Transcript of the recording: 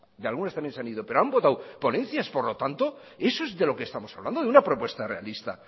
de algunas también se han ido pero han votado ponencias por lo tanto eso es de lo que estamos hablando de una propuesta realista